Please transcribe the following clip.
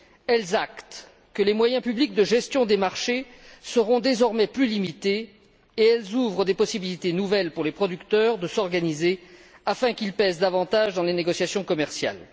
Elles actent que les moyens publics de gestion des marchés seront désormais plus limités et elles ouvrent des possibilités nouvelles aux producteurs de s'organiser afin de peser davantage dans les négociations commerciales.